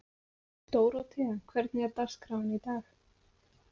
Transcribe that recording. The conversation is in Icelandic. Dórótea, hvernig er dagskráin í dag?